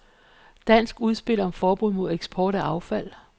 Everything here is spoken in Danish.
Dansk udspil om forbud mod eksport af affald.